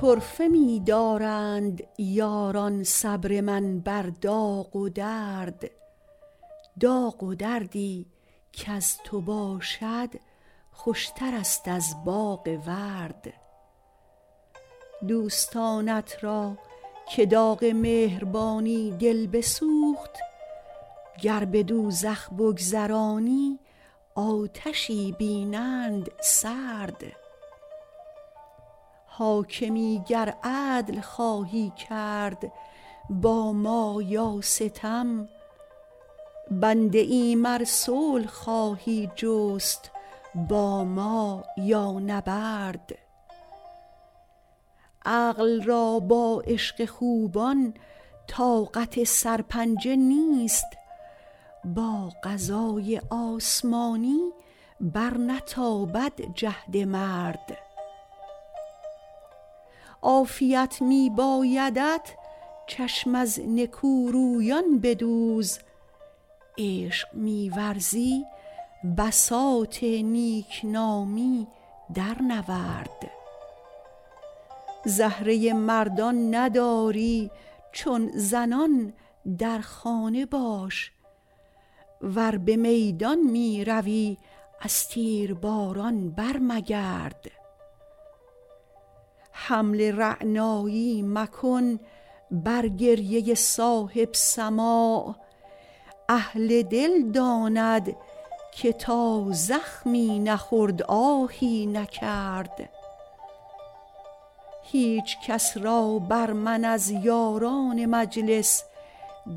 طرفه می دارند یاران صبر من بر داغ و درد داغ و دردی کز تو باشد خوشترست از باغ ورد دوستانت را که داغ مهربانی دل بسوخت گر به دوزخ بگذرانی آتشی بینند سرد حاکمی گر عدل خواهی کرد با ما یا ستم بنده ایم ار صلح خواهی جست با ما یا نبرد عقل را با عشق خوبان طاقت سرپنجه نیست با قضای آسمانی برنتابد جهد مرد عافیت می بایدت چشم از نکورویان بدوز عشق می ورزی بساط نیک نامی درنورد زهره مردان نداری چون زنان در خانه باش ور به میدان می روی از تیرباران برمگرد حمل رعنایی مکن بر گریه صاحب سماع اهل دل داند که تا زخمی نخورد آهی نکرد هیچ کس را بر من از یاران مجلس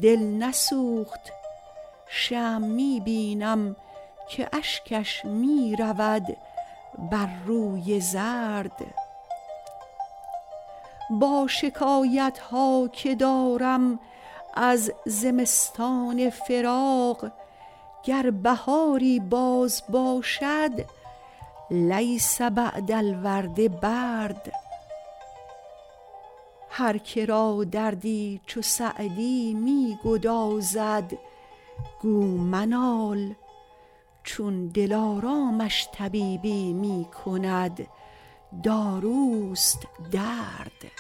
دل نسوخت شمع می بینم که اشکش می رود بر روی زرد با شکایت ها که دارم از زمستان فراق گر بهاری باز باشد لیس بعد الورد برد هر که را دردی چو سعدی می گدازد گو منال چون دلارامش طبیبی می کند داروست درد